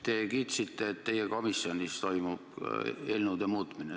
Te kiitsite, et teie komisjonis toimub eelnõude muutmine.